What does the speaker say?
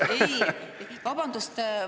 Vabandust!